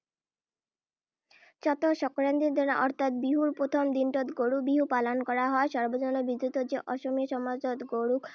চ’তৰ সংক্ৰান্তিৰ দিনা অৰ্থাৎ বিহুৰ প্ৰথম দিনটোতে গৰু বিহু পালন কৰা হয়। সৰ্বজনবিদিত যে, অসমীয়া সমাজত গৰুক